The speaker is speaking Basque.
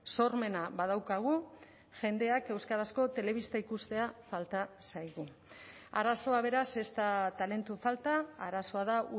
sormena badaukagu jendeak euskarazko telebista ikustea falta zaigu arazoa beraz ez da talentu falta arazoa da